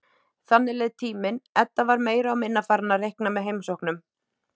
Þannig leið tíminn, Edda var meira og minna farin að reikna með heimsóknum